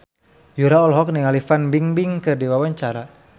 Yura olohok ningali Fan Bingbing keur diwawancara